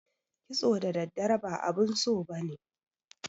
kitso da daddare ba abun so ba ne.